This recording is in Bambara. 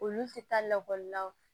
Olu tɛ taa lakɔlila